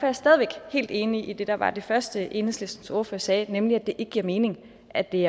er stadig væk helt enig i det der var det første som enhedslistens ordfører sagde nemlig at det ikke giver mening at det